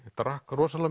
drakk rosalega